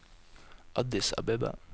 Addis Abeba